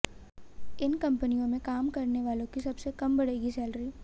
इन कंपनियों में काम करने वालों की सबसे कम बढ़ेगी सैलरी